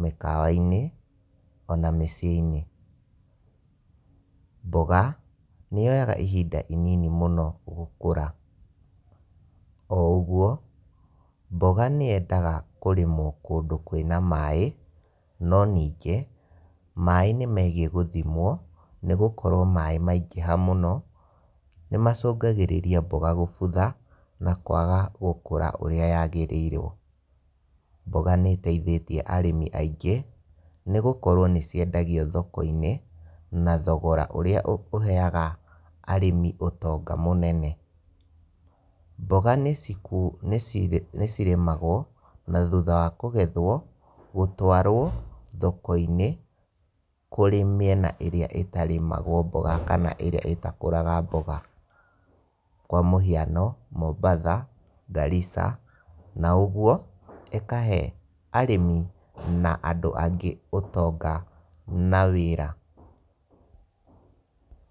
mĩkawa-inĩ ona mĩciĩ-inĩ. Mboga nĩyoyaga ihinda inini mũno gũkũra, o ũguo mboga nĩyendaga kũrĩmwo kũndũ kwĩna maaĩ, no ningĩ maaĩ nĩmegiĩ gũthimwo, nĩgũkorwo maaĩ maingĩha mũno nĩmacũngagĩrĩria mboga kũbutha na kwaga gũkũra ũrĩa yagĩrĩiwo. Mboga nĩĩteithĩtie arĩmi aingĩ, nĩgũkorwo nĩciendagio thoko-inĩ na thogora ũrĩa ũheyaga arĩmi ũtonga mũnene. Mboga nĩcirĩmagwo na thutha wa kũgethwo, gũtwarwo thoko-inĩ kũrĩ mĩena ĩrĩa ĩtarĩmagwo mboga, kana ĩrĩa ĩtakũraga mboga, kwa mũhiano Mombatha, Garrisa na ũguo ĩkahe arĩmi na andũ angĩ ũtonga na wĩra.